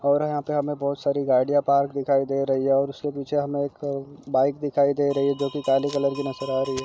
और यहाँ पे हमे बहुत सारी गाडियाँ पार्क दिखाई दे रही है और उसके पीछे हमें एक बाईक दिखाई दे रही है जो कि काले कलर की नजर आ रही है।